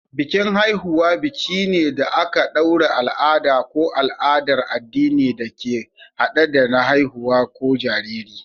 Bikin Haihuwa biki ne da aka ɗaure al'ada ko al'adar addini da ke hade da haihuwa ko jariri.